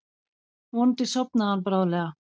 Vonandi sofnaði hann bráðlega.